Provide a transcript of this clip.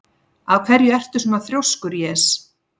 Af hverju ertu svona þrjóskur, Jes?